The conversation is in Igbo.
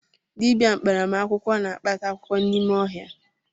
Dịbịa mkparamakwụkwọ na-akpata akwụkwọ n’ime ọhịa